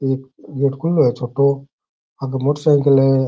एक गेट खुलो है छोटो आगे मोटरसाइकिल है।